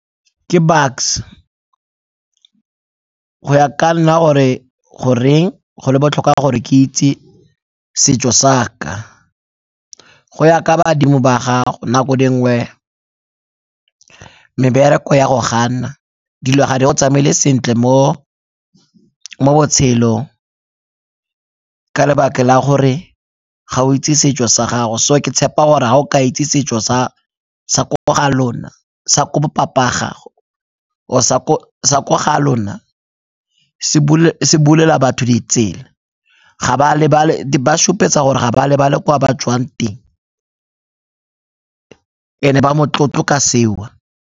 Ke Bucks, go ya ka nna gore goreng go botlhokwa gore ke itse setso sa ka, go ya ka badimo ba gago nako dingwe mebereko e a go gana, dilo ga di go tsamaele sentle mo botshelong ka lebaka la gore ga o itse setso sa gago. Go ke tshepa gore ga o ka itse setso sa ko ga lona sa ko bo papa gago, or-e sa ko ga lona se bulela batho ditsela, di ba supetsa gore ga ba lebale kwa ba tswang teng and-e ba motlotlo ka seo.